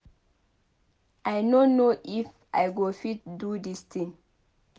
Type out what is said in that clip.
I no know if I go fit do dis thing